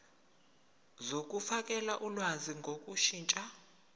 zokufakela ulwazi ngokushintsha